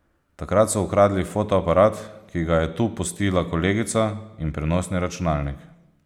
Takrat so ukradli fotoaparat, ki ga je tu pustila kolegica, in prenosni računalnik.